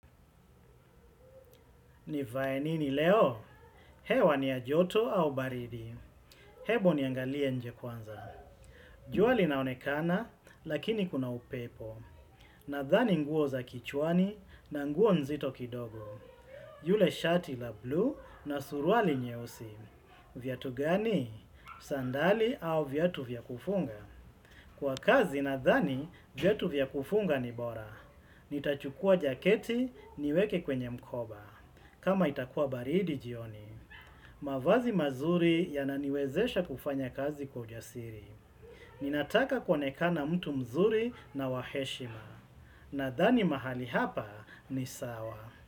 Nivae nini leo? Hewa ni ya joto au baridi. Ebu niangalie nje kwanza. Jua linaonekana, lakini kuna upepo. Nadhani nguo za kichwani na nguo nzito kidogo. Yule shati la buluu na suruali nyeusi. Viatu gani? Sandali au viatu vyakufunga? Kwa kazi nadhani, viatu vyakufunga ni bora. Nitachukua jaketi niweke kwenye mkoba. Kama itakua baridi jioni, mavazi mazuri yananiwezesha kufanya kazi kwa ujasiri. Ninataka kuonekana mtu mzuri na waheshima. Nadhani mahali hapa ni sawa.